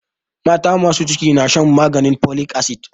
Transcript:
Mata masu ciki na shan maganin folic acid.